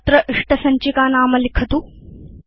अत्र इष्टसञ्चिकानाम लिखतु